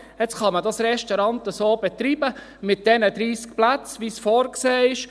Jetzt kann man das Restaurant mit diesen 30 Plätzen so betreiben, wie es vorgesehen ist.